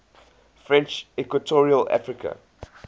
french equatorial africa